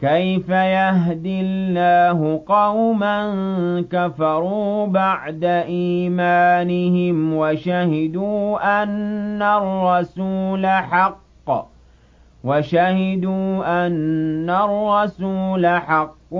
كَيْفَ يَهْدِي اللَّهُ قَوْمًا كَفَرُوا بَعْدَ إِيمَانِهِمْ وَشَهِدُوا أَنَّ الرَّسُولَ حَقٌّ